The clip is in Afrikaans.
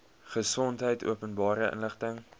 gesondheid openbare inligting